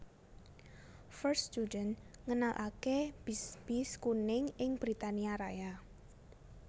First Student ngenalaké bis bis kuning ing Britania Raya